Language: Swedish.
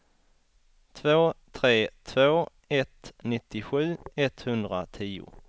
två tre två ett nittiosju etthundratio